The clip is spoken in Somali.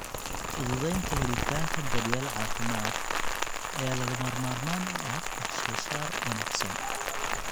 Fududeynta helitaanka daryeel caafimaad ayaa lagama maarmaan u ah wax soo saar wanaagsan.